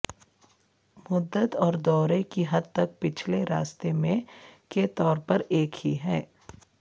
مدت اور دورے کی حد تک پچھلے راستے میں کے طور پر ایک ہی ہے